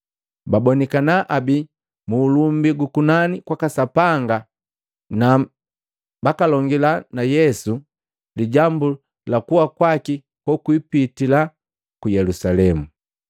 babonikana abi muulumbi gukunani kwaka Sapanga kwaka Sapanga na bakalongila na Yesu lijambu la kuwa kwaki kokwipitila ku Yelusalemu.